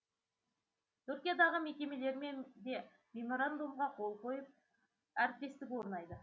түркиядағы мекемелермен де меморандумға қол қойылып әріптестік орнайды